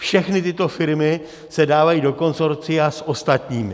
Všechny tyto firmy se dávají do konsorcia s ostatními.